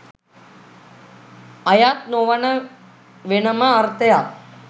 අයත් නොවන වෙනම අර්ථයක්